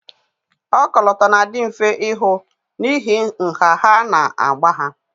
Ọkọlọtọ na-adị mfe ịhụ n'ihi nha ha na agba ha